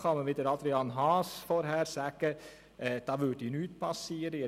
Selbstverständlich kann man mit Adrian Haas sagen, da würde nichts gesehen.